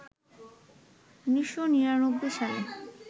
১৯৯৯ সালে